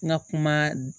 N ka kuma